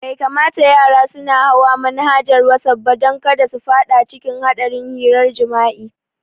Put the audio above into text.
Bai kamata yara suna hawa manhajar wasaf ba don kada su fada cikin hadarin hirar jimi'a